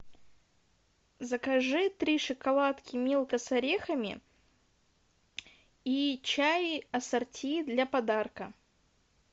закажи три шоколадки милка с орехами и чай ассорти для подарка